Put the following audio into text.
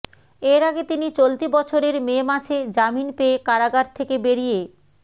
এর আগে তিনি চলতি বছরের মে মাসে জামিন পেয়ে কারাগার থেকে বেরিয়ে